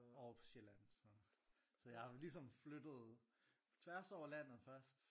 Over på Sjælland. Så jeg har ligesom flyttet tværs over landet først